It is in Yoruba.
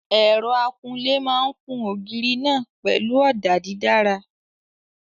Ẹ̀rọ akunlé máa kun ògiri náà pẹ̀lú ọ̀dà dídára.